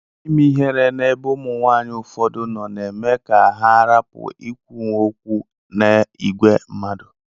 Ime ihere na ebe ụmụnwanyi ụfọdụ no na eme ka ha rapu ikwunwu okwu na igwee mmadu.